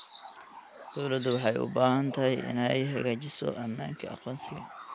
Dawladdu waxay u baahan tahay inay xaqiijiso ammaanka aqoonsiga.